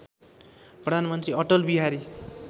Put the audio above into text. प्रधानमन्त्री अटल बिहारी